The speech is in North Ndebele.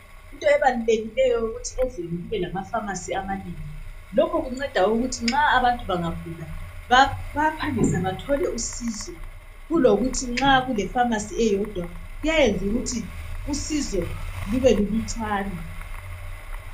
Into ebalulekileyo ukuthi ezweni kube lama pharmacy amanengi lokho kunceda ukuthi nxa abantu bangagula bayaphangisa bathole usizo kulokuthi nxa kule pharmacy eyodwa kuyayenza ukuthi usizo lube lulutshwane.